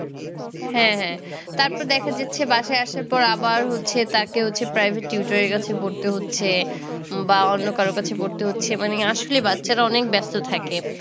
হ্যাঁ হ্যাঁ। তারপরে দেখা যাচ্ছে বাসায় আসার পরে আবার হচ্ছে তাকে হচ্ছে private tutor এর কাছে পড়তে হচ্ছে, বা অন্য কারোর কাছে পড়তে হচ্ছে। মানে আসলে বাচ্চারা অনেক ব্যস্ত থাকে।